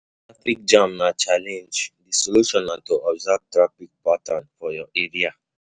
Traffic jam na challenge, di solution na to observe traffic pattern for your area